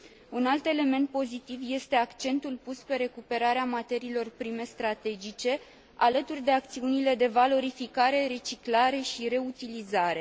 Un alt element pozitiv este accentul pus pe recuperarea materiilor prime strategice, alături de acțiunile de valorificare, reciclare și reutilizare.